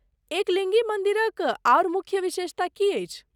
एकलिङ्गी मन्दिरक आओर मुख्य विशेषता की अछि?